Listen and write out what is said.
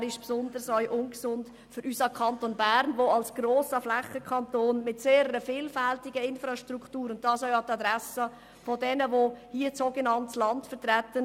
Er ist aber besonders ungesund für unseren Kanton Bern als grossflächigen Kanton mit sehr vielfältiger Struktur – dies auch an die Adresse derer, die hier das sogenannte Land vertreten.